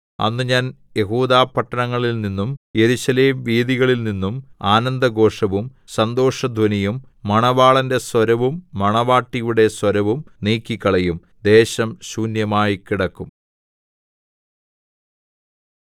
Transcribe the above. അന്ന് ഞാൻ യെഹൂദാപട്ടണങ്ങളിൽനിന്നും യെരൂശലേം വീഥികളിൽനിന്നും ആനന്ദഘോഷവും സന്തോഷധ്വനിയും മണവാളന്റെ സ്വരവും മണവാട്ടിയുടെ സ്വരവും നീക്കിക്കളയും ദേശം ശൂന്യമായിക്കിടക്കും